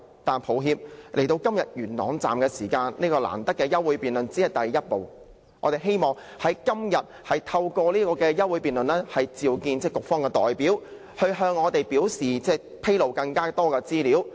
但是，今天元朗站的事件，提出這項難得的休會待續議案只是第一步，我們希望能透過今天的這項議案辯論，叫喚局方代表向我們披露更多資料。